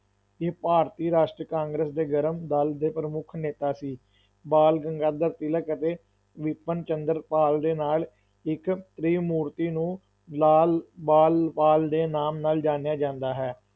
ਇਹ ਭਾਰਤੀ ਰਾਸ਼ਟਰੀ ਕਾਂਗਰਸ ਦੇ ਗਰਮ ਦਲ ਦੇ ਪ੍ਰਮੁੱਖ ਨੇਤਾ ਸੀ, ਬਾਲ ਗੰਗਾਧਰ ਤਿਲਕ ਅਤੇ ਬਿਪਿਨ ਚੰਦਰ ਪਾਲ ਦੇ ਨਾਲ ਇੱਕ ਤ੍ਰਿਮੂਰਤੀ ਨੂੰ ਲਾਲ-ਬਾਲ-ਪਾਲ ਦੇ ਨਾਮ ਨਾਲ ਜਾਣਿਆ ਜਾਂਦਾ ਹੈ।